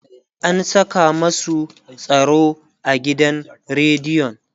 an Saka masu tsaro a gidan rediyon